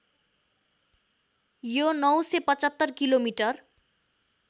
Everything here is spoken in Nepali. यो ९७५ किलोमिटर